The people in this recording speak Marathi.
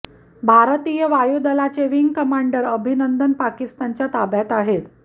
भारतीय वायुदलाचे विंग कमांडर अभिनंदन पाकिस्तानच्या ताब्यात आहेत